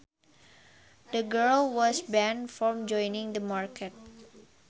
The girl was banned from joining the market